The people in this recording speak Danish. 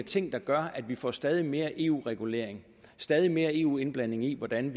ting der gør at vi får stadig mere eu regulering stadig mere eu indblanding i hvordan